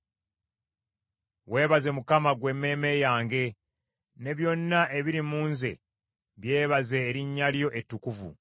Weebaze Mukama , ggwe emmeeme yange; ne byonna ebiri mu nze byebaze erinnya lye ettukuvu.